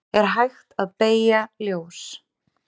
Er hægt að beygja ljós?